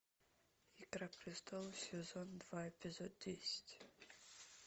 игра престолов сезон два эпизод десять